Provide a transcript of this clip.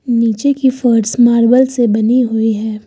नीचे की फर्श मार्बल से बनी हुई है।